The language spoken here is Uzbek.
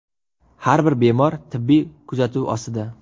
Har bir bemor tibbiy kuzatuv ostida.